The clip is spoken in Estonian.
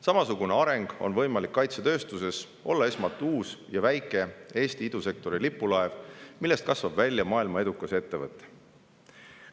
Samasugune areng on võimalik kaitsetööstuses: olla esmalt uus ja väike Eesti idusektori lipulaev, millest kasvab välja maailmas edukas ettevõte.